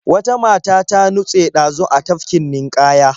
Wata mata ta nutse ɗazu a tafkin ninƙaya.